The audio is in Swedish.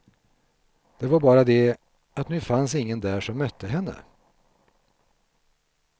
Det var bara det, att nu fanns ingen där som mötte henne.